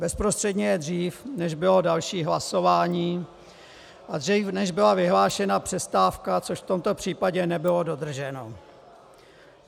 Bezprostředně je dřív, než bylo další hlasování, a dřív, než byla vyhlášena přestávka, což v tomto případě nebylo dodrženo.